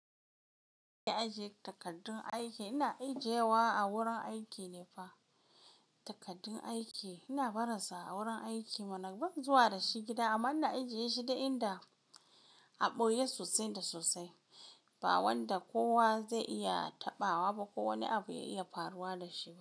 Ina ajiye takardun aiki, ina ijiye wa a wurin aiki ne fa. Takardun aiki ina barin su a wurin aiki mana ban zuwa da shi gida. Amma ina ijiye shi dai inda aɓoye sosai da sosai, ba wanda kowa zai iya taɓawa ba, ko wani abu ya iya faruwa da shi.